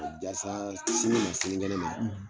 O Jasaa sini ma sinikɛnɛ ma